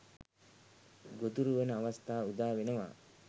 ගොදුරු වන අවස්ථා උදාවෙනවා.